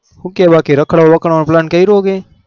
હું કે બાકી રખડ વા રખડવા નો plan કર્યો કઈ